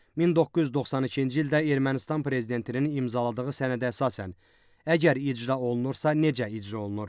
1992-ci ildə Ermənistan prezidentinin imzaladığı sənədə əsasən, əgər icra olunursa, necə icra olunur?